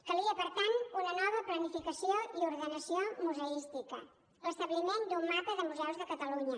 calia per tant una nova planificació i ordenació museística l’establiment d’un mapa de museus de catalunya